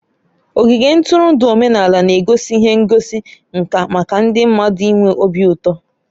Ogige ntụrụndụ omenala na-egosi ihe ngosi nka maka ndị mmadụ ịnwe obi ụtọ.